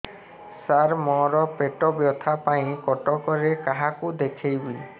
ସାର ମୋ ର ପେଟ ବ୍ୟଥା ପାଇଁ କଟକରେ କାହାକୁ ଦେଖେଇବି